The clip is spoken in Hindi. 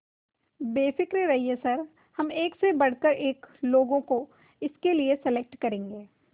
बेफिक्र रहिए सर हम एक से बढ़कर एक बस लोगों को इसके लिए सेलेक्ट करेंगे